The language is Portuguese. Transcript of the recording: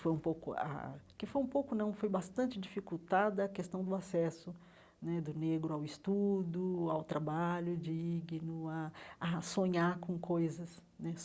foi um pouco ah ah que foi um pouco não foi bastante dificultada a questão do acesso né do negro ao estudo, ao trabalho digno, a a sonhar com coisas né.